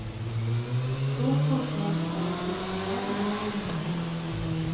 Då får folk gå från sina hem igen.